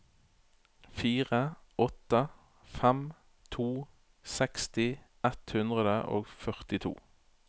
fire åtte fem to seksti ett hundre og førtito